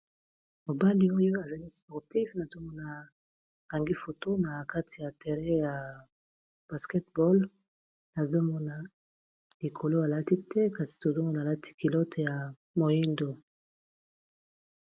Mobali oyo azali sportif nazomona a kangi foto na kati ya terrain ya basketball nazomona likolo alati te kasi tozomona alati kilote ya moyindo.